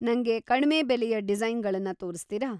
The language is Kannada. ನಂಗೆ ಕಡ್ಮೆ ಬೆಲೆಯ ಡಿಸೈನ್‌ಗಳನ್ನ ತೋರಿಸ್ತೀರಾ?